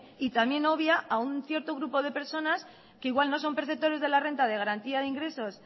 y también obvia a un cierto grupo de personas que igual no son perceptores de la renta de garantía de ingresos